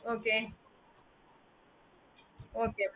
okayokay மா